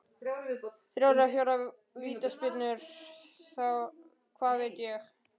Þrjár eða fjórar vítaspyrnur, hvað veit ég?